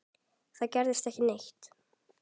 Það gerðist ekki neitt.